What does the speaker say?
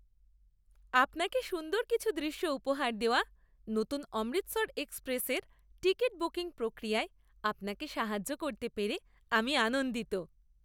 আপনাকে সুন্দর কিছু দৃশ্য উপহার দেওয়া নতুন 'অমৃতসর এক্সপ্রেস' এর টিকিট বুকিং প্রক্রিয়ায় আপনাকে সাহায্য করতে পেরে আমি আনন্দিত।